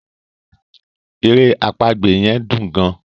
èrè àpagbè yen dùn gaan.